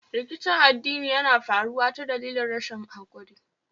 Rikicin addini Yana faruwa ta dalilin rashin hakuri